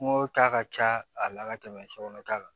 Kungo ta ka ca a la ka tɛmɛ cɛkɔrɔba ta kan